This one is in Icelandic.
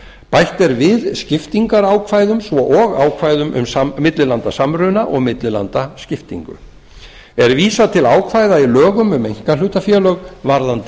bætt er við skiptingarákvæðum svo og ákvæðum um millilandasamruna og millilandaskiptingu er vísað til ákvæða í lögum um einkahlutafélög varðandi